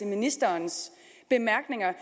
ministerens bemærkninger